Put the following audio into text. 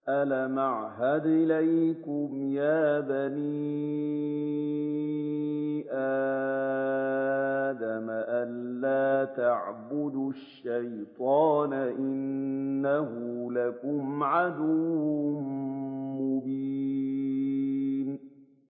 ۞ أَلَمْ أَعْهَدْ إِلَيْكُمْ يَا بَنِي آدَمَ أَن لَّا تَعْبُدُوا الشَّيْطَانَ ۖ إِنَّهُ لَكُمْ عَدُوٌّ مُّبِينٌ